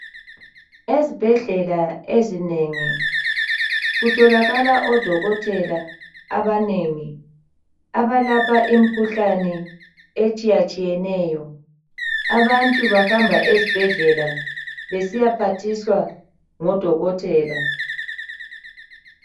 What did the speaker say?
Ezibhedlela ezinengi kutholakala odokotela abanengi abayelapha imikhuhlane etshiya tshiyeneyo abantu bahamba ezibhedlela besiya phathiswa ngodokotela